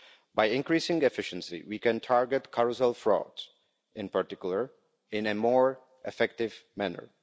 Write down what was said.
By increasing efficiency, we can target carousel frauds in particular in a more effective manner.